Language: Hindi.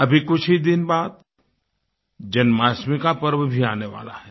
अभी कुछ ही दिन बाद जन्माष्टमी का पर्व भी आने वाला है